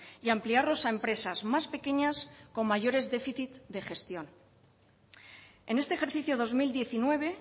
y ampliarlos a empresas más pequeñas con mayores déficits de gestión en este ejercicio dos mil diecinueve